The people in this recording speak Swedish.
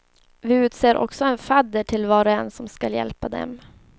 Vi utser också en fadder till var och en som skall hjälpa dem.